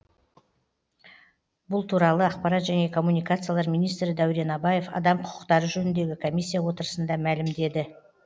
бұл туралы ақпарат және коммуникациялар министрі дәурен абаев адам құқықтары жөніндегі комиссия отырысында мәлімдеді